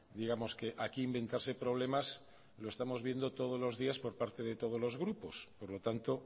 digamos que aquí inventarse problemas lo estamos viendo todos los días por parte de todos los grupos por lo tanto